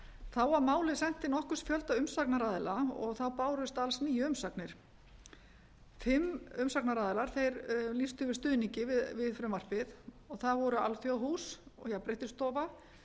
þá var málið sent til nokkurs fjölda umsagnaraðila og þá bárust alls níu umsagnir fimm umsagnaraðilar þeir lýstu yfir stuðningi við frumvarpið það voru alþjóðahús og jafnréttisstofa